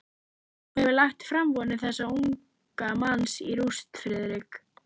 Þú hefur lagt framavonir þessa unga manns í rúst, Friðrik.